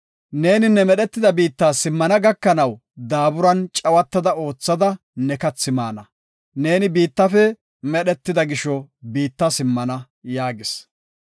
Neeni ne medhetida biitta simmana gakanaw daaburan cawatada oothida ne kathi maana. Neeni biittafe medhetida gisho biitta simmana” yaagis.